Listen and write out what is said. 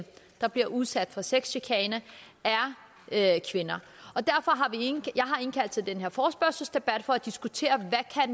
der bliver udsat for sexchikane er kvinder jeg har indkaldt til den her forespørgselsdebat for at diskutere hvad